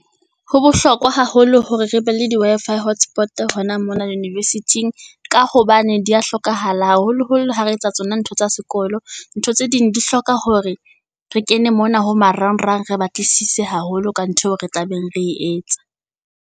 Ho bohlokwa haholo hore re be le di Wi-Fi hotspot hona mona university-ing ka hobane di ya hlokahala, ha holoholo ha re etsa tsona ntho tsa sekolo. Ntho tse ding di hloka hore re kene mona ho marangrang, re batlisise haholo ka ntho eo re tlabeng re e etsa.